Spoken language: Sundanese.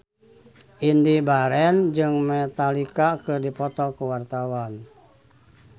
Indy Barens jeung Metallica keur dipoto ku wartawan